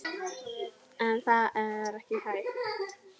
En það er ekki hægt.